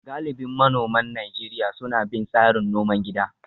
Galibin manoman Najeriya suna bin tsarin noman gida